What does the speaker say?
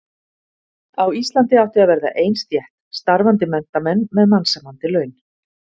Á Íslandi átti að verða ein stétt: Starfandi menntamenn með mannsæmandi laun.